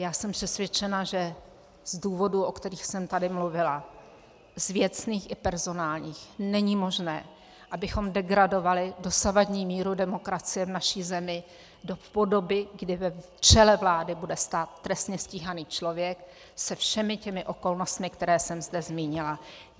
Já jsem přesvědčena, že z důvodů, o kterých jsem tady mluvila, z věcných i personálních, není možné, abychom degradovali dosavadní míru demokracie v naší zemi do podoby, kdy v čele vlády bude stát trestně stíhaný člověk se všemi těmi okolnostmi, které jsem zde zmínila.